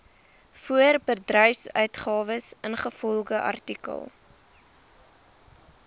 voorbedryfsuitgawes ingevolge artikel